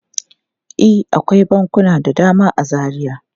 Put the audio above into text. E, akwai bankuna da dama a Zaria.